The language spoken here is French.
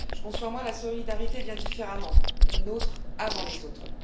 Je conçois la solidarité bien différemment les nôtres avant les autres.